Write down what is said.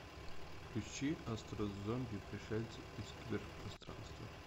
включи астро зомби пришельцы из киберпространства